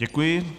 Děkuji.